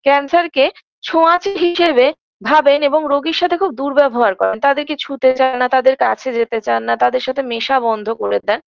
cancer -কে ছোঁয়াচে হিসেবে ভাবেন এবং রোগীর সাথে খুব দূর্ব্যবহার করেন তাদেরকে ছুঁতে চায়না তাদের কাছে যেতে চাননা তাদের সাথে মেশা বন্ধ করে দেন